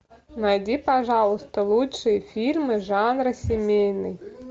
найди пожалуйста лучшие фильмы жанра семейный